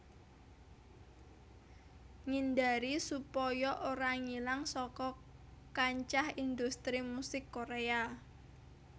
Ngindari supaya ora ngilang saka kancah industri musik Korèa